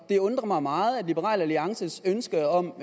det undrer mig meget at liberal alliances ønske om